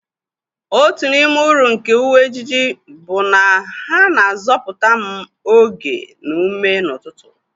Otu n'ime uru nke uwe ejiji bụ na ha na-azọpụta m oge na ume n'ụtụtụ.